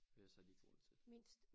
Ellers har de ikke råd til det